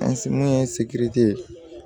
An se mun ye